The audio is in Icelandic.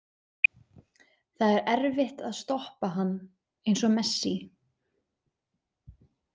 Það er erfitt að stoppa hann, eins og Messi.